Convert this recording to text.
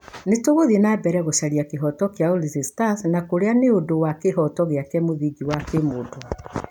Nĩ tũgũthiĩ na mbere gũcaria kĩhooto kĩa Ulinzi Stars na kũrũa nĩ ũndũ wa ĩhooto gĩake mũthingi wa kimũndũ.